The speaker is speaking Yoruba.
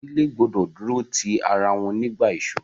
Ìdílé gbọdọ̀ dúró ti ara wọn nígbà ìṣoro.